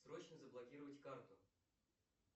срочно заблокировать карту